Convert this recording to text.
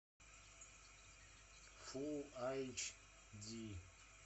фулл айч ди